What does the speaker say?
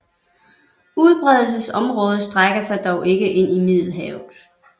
Udbredelsesområdet strækker sig dog ikke ind i Middelhavet